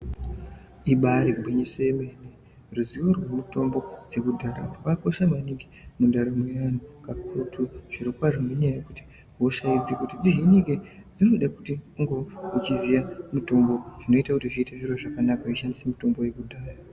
Ibari gwinyiso yemene ruziwo rwemutombo dzekudhaya kwakakodha maningi mundaramo yaanhu kakurutu zviro kwazvo ngenyaaya yekuti hosha idzi dzihinike dzinoda kuti unge uchiziye mutombo zvinoita kuti zviite zviro zvakanaka weishandisa mutombo yekudhaya.